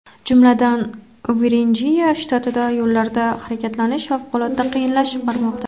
Jumladan, Virjiniya shtatida yo‘llarda harakatlanish favqulodda qiyinlashib bormoqda.